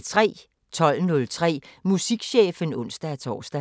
12:03: Musikchefen (ons-tor)